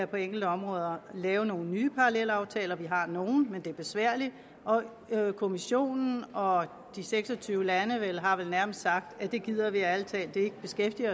på enkelte områder kan lave nogle nye parallelaftaler vi har nogle men det er besværligt og kommissionen og de seks og tyve lande har vel nærmest sagt at det gider de ærlig talt ikke beskæftige